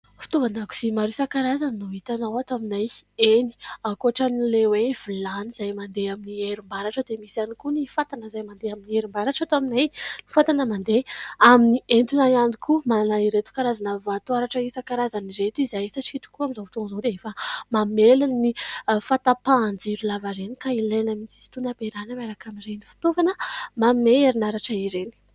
Fitaovan-dakozia maro isankarazany no hitanao ato aminay. Eny, ankoatran'ilay hoe vilany izay mandeha amin'ny herinaratra, dia misy ihany koa ny fatana izay mandeha amin'ny herinaratra ato aminay, fatana mandeha amin'ny etona ihany koa. Manana ireto karazana vatoaratra isankarazana ireto izahay. Satria tokoa amin'izao fotoana izao, dia efa mamely ny fahatapahan-jiro lavareny ; ka ilaina mihitsy izy itony, ampiarahana miaraka amin'ireny fitaovana mandeha amin'ny herinaratra ireny.